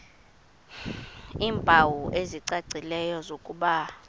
iimpawu ezicacileyo zokuba